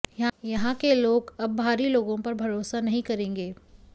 यहां के लोग अब बाहरी लोगों पर भरोसा नहीं करेंगे